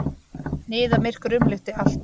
Niðamyrkur umlukti allt.